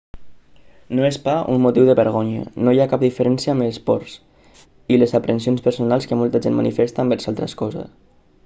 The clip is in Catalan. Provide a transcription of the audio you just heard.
no és pas un motiu de vergonya no hi ha cap diferència amb les pors i les aprensions personals que molta gent manifesta envers altres coses